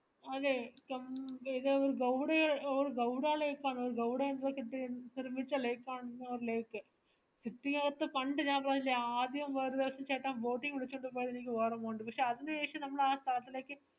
അതേയ് some ഒരു ഗൗരി ഒരു ഗൗഡാ lake ആണോ ഒരു ഗൗഡ advocate നിർമിച്ച lake ആണൊന്നൊരു lake ചുറ്റിക ഒക്കെ കണ്ടു ഞാൻ പറഞ്ഞില്ലേ ആദ്യം വേറൊരു ദിവസം ചേട്ടൻ boating പോയത് അനക് ഓർമ ഒണ്ട് പക്ഷെ അതിനു ശേഷം നമ്മൾ ആ കാട്ടിലേക്